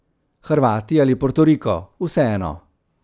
Hrvati ali Portoriko, vseeno.